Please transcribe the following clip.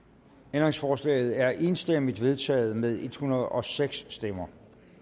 ændringsforslaget er enstemmigt vedtaget med en hundrede og seks stemmer